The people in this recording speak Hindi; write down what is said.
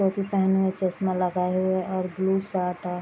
टोपी पहने है चश्मा लगाए हुए और ब्लू शर्ट --